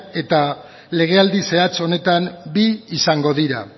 eta legealdi zehatz honetan bi izango dira